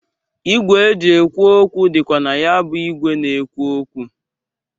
Igwe e ji ekwu okwu dịkwa na ya bụ igwe na-ekwu okwu.